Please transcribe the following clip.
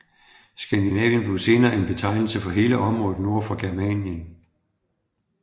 Skandinavien blev senere en betegnelse for hele området nord for Germanien